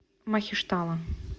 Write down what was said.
махештала